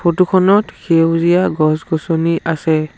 Photo খনত সেউজীয়া গছ গছনি আছে।